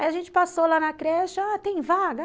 Aí a gente passou lá na creche, ah, tem vaga?